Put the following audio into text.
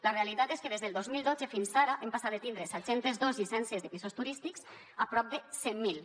la realitat és que des del dos mil dotze fins ara hem passat de tindre set cents i dos llicències de pisos turístics a prop de cent miler